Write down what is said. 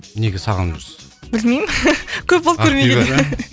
неге сағынып жүрсіз білмеймін көп болды көрмегелі